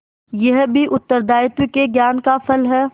यह भी उत्तरदायित्व के ज्ञान का फल है